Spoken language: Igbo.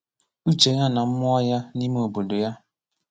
Ụché yá nà mmụọ yá n’ime obodo yá